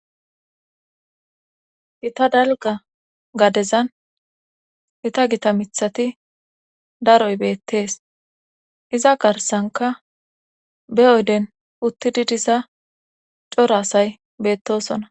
Gita dalga gadezan gita gita mithati daroy beettees iza garsanka be oyden uttidi diza cora asay beettosona